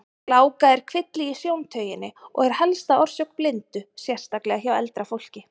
Gláka er kvilli í sjóntauginni og er helsta orsök blindu, sérstaklega hjá eldra fólki.